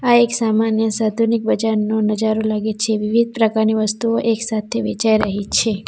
આ એક સામાન્ય સાધુનિક બજારનો નજારો લાગે છે વિવિધ પ્રકારની વસ્તુઓ એક સાથે વેચાઈ રહી છે.